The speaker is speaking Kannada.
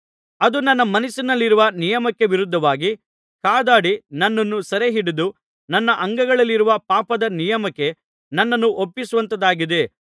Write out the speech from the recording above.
ಅದು ನನ್ನ ಮನಸ್ಸಿನಲ್ಲಿರುವ ನಿಯಮಕ್ಕೆ ವಿರುದ್ಧವಾಗಿ ಕಾದಾಡಿ ನನ್ನನ್ನು ಸೆರೆಹಿಡಿದು ನನ್ನ ಅಂಗಗಳಲ್ಲಿರುವ ಪಾಪದ ನಿಯಮಕ್ಕೆ ನನ್ನನ್ನು ಒಪ್ಪಿಸುವಂಥದ್ದಾಗಿದೆ